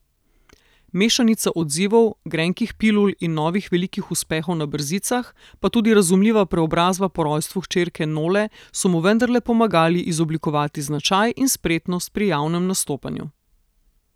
Mešanica odzivov, grenkih pilul in novih velikih uspehov na brzicah, pa tudi razumljiva preobrazba po rojstvu hčerke Nole, so mu vendarle pomagali izoblikovati značaj in spretnost pri javnem nastopanju.